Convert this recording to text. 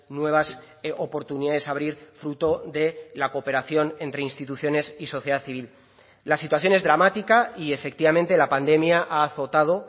nuevas oportunidades a abrir fruto de la cooperación entre instituciones y sociedad civil la situación es dramática y efectivamente la pandemia ha azotado